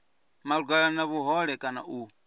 malugana na vhuhole kana u